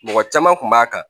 Mɔgɔ caman kun b'a kan